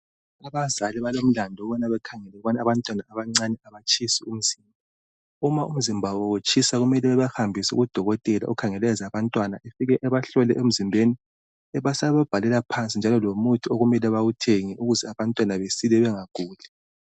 Abazali balomlandu wokuba bekhangele ukubana abantwana abancane ukuba abatshisi umzimba .Uma umzimba wabo utshisa kumele babahambise kudokotela okhangele ngabantwana afike abahlole emzimbeni abesebabhalela lomuthi okumele bawuthenge ukuze abantwana bengaguli .